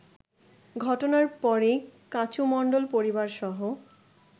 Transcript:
ঘটনার পরেই কাচু মণ্ডল পরিবারসহ